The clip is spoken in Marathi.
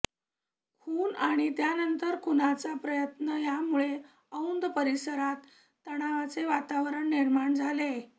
खून आणि त्यानंतर खुनाचा प्रयत्न यामुळे औंध परिसरात तणावाचे वातावरण निर्माण झाले